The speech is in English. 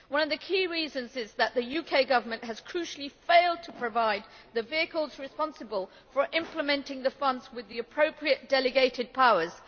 One of the key reasons is that the UK Government has, crucially, failed to provide the vehicles responsible for implementing the funds with the appropriate delegated powers.